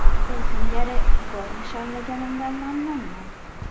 U singari gol nishonlaganimdan mamnunman.